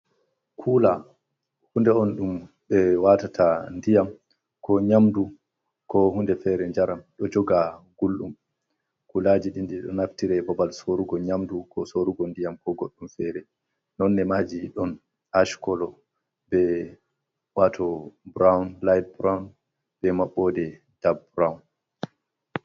Kula hunde on ɗum ɓe watata ndiyam ko nyamdu ko hunde fere njaram, ɗo joga gulɗum. Kulaaji ɗinɗi ɗo naftire babal sorugo nyamdu, ko sorugo ndiyam ko goɗɗum fere. Nonne maji ɗon ash kolo be wato burown light burown be maɓɓode dak burown.